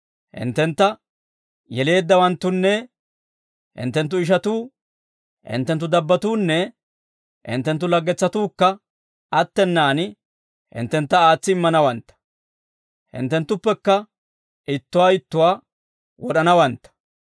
Hinttentta yeleeddawanttunne hinttenttu ishatuu, hinttenttu dabbatuunne hinttenttu laggetsatuukka attenaan hinttentta aatsi immanawantta; hinttenttuppekka ittuwaa ittuwaa wod'anawantta.